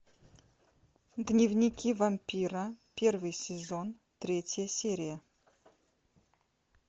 дневники вампира первый сезон третья серия